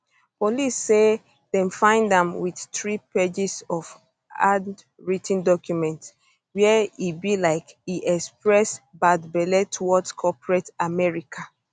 police say dem find am with three pages of handwrit ten documents where e be like e express bad belle towards corporate america